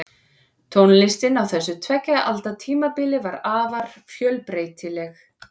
Tónlistin á þessu tveggja alda tímabili var afar fjölbreytileg.